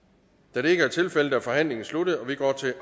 da det ikke er tilfældet er forhandlingen sluttet og vi går til